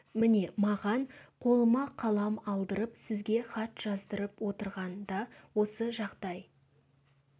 міне маған қолыма қалам алдырып сізге хат жаздырып отырған да осы жағдай